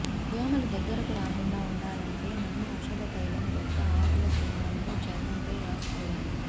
దోమలు దగ్గరకు రాకుండా ఉండాలంటే నిమ్మ ఔషధతైలం మొక్క ఆకుల చూర్ణంను చర్మం పై రాసుకోవాలి